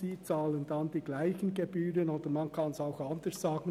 Diese bezahlen dieselben Gebühren, oder anders gesagt, der Kanton